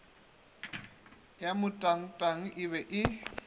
ya motangtang e be e